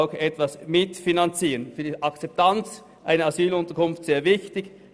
Und für deren Akzeptanz ist das sehr wichtig.